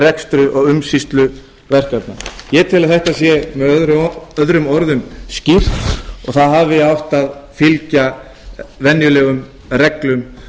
rekstri og umsýslu verkefna ég tel að þetta sé með öðrum orðum skipt og það hafi átt að fylgja venjulegum reglum